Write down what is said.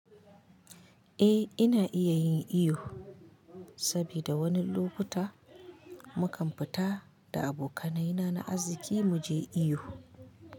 Eh ina iya yin iyo, sabida wani lokuta mukan fita da abokanai na na aziki muje iyo.